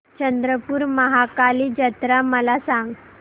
चंद्रपूर महाकाली जत्रा मला सांग